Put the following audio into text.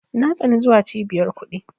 Na tsani zuwa Cibiyar kuɗi.